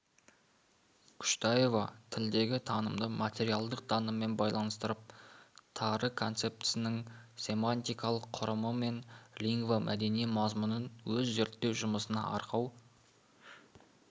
күштаева тілдегі танымды материалдық таныммен байланыстырып тары концептісінің семантикалық құрымы мен лингвомәдени мазмұнын өз зерттеу жұмысына арқау